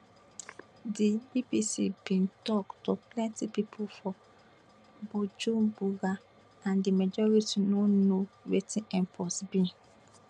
di bbc bin tok to plenti pipo for bujumbura and di majority no know wetin mpox be